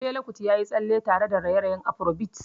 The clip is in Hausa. Fela Kuti ya yi tsalle tare da raye-rayen afrobeat.